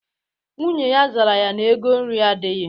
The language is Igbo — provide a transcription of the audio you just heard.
Nwunye ya zara ya na ego nri adịghị.